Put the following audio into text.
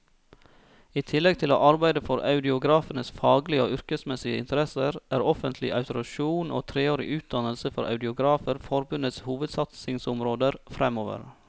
I tillegg til å arbeide for audiografenes faglige og yrkesmessige interesser, er offentlig autorisasjon og treårig utdannelse for audiografer forbundets hovedsatsingsområder fremover.